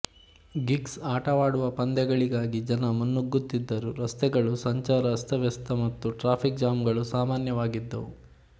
gigs ಆಟವಾಡುವ ಪಂದ್ಯಗಳಿಗಾಗಿ ಜನ ಮುನ್ನುಗ್ಗುತ್ತಿದ್ದರುರಸ್ತೆಗಳು ಸಂಚಾರ ಅಸ್ತವ್ಯಸ್ತ ಮತ್ತು ಟ್ರಾಫಿಕ್ ಜಾಮ್ ಗಳು ಸಾಮಾನ್ಯವಾಗಿದ್ದವು